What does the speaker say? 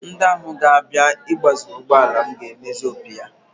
Ndị ahụ ga-abịa igbaziri ụgbọala m ga-emezi opi ya